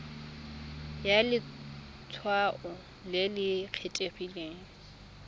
ya letshwao le le kgethegileng